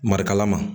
Marikala ma